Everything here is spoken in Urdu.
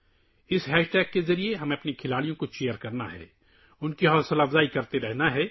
اس ہیش ٹیگ کے ذریعے ہمیں اپنے کھلاڑیوں کو خوش کرنا ہے... ان کی حوصلہ افزائی کرتے رہیں